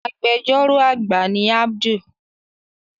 Agbẹjọ́rò àgbà ni Abdul